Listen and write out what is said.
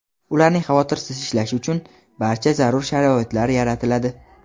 ularning xavotirsiz ishlashi uchun barcha zarur sharoitlar yaratiladi.